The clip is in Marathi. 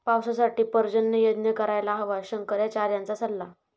पावसासाठी पर्जन्ययज्ञ करायला हवा, शंकराचार्यांचा सल्ला